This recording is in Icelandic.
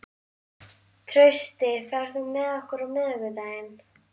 Trausti, ferð þú með okkur á miðvikudaginn?